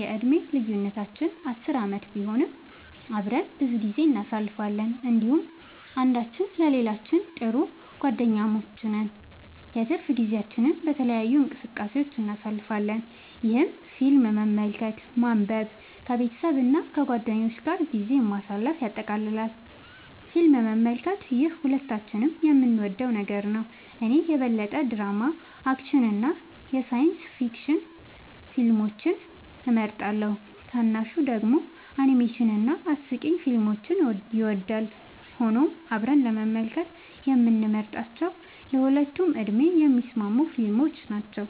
የዕድሜ ልዩነታችን 10 ዓመት ቢሆንም፣ አብረን ብዙ ጊዜ እናሳልፋለን እንዲሁም አንዳችን ለሌላችን ጥሩ ጓደኛሞች ነን። የትርፍ ጊዜያችንን በተለያዩ እንቅስቃሴዎች እናሳልፋለን፣ ይህም ፊልም መመልከትን፣ ማንበብን፣ ከቤተሰብ እና ከጓደኞች ጋር ጊዜ ማሳለፍን ያጠቃልላል። ፊልም መመልከት - ይህ ሁለታችንም የምንወደው ነገር ነው። እኔ የበለጠ ድራማ፣ አክሽን እና ሳይንስ ፊክሽን ፊልሞችን እመርጣለሁ፣ ታናሹ ደግሞ አኒሜሽን እና አስቂኝ ፊልሞችን ይወዳል። ሆኖም አብረን ለመመልከት የምንመርጣቸው ለሁለቱም ዕድሜ የሚስማሙ ፊልሞች ናቸው።